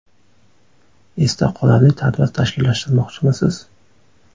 Esda qolarli tadbir tashkillashtirmoqchimisiz?